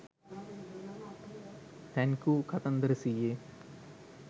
thank you කතන්දර සීයේ